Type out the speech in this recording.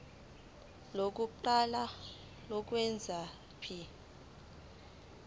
lokuqala lokwengeza p